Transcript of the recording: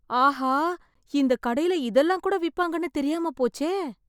ஆஹா! இந்தக் கடையில இதெல்லாம் கூட விப்பாங்கன்னுத் தெரியாமப் போச்சே!